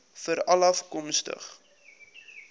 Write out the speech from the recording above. veralafkomstig